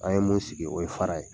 An ye mun sigi, o ye fara ye.